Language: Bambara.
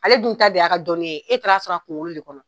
Ale dun ta de y'a ka dɔnni ye, e taar'a sɔrɔ a kunkolo de kɔnɔ